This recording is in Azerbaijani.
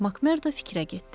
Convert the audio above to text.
Makmerdo fikrə getdi.